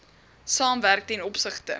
saamwerk ten opsigte